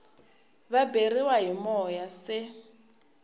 va beriwa hi moya se